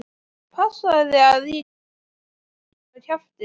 Passaðu þig að ég gefi þér ekki einn á kjaftinn!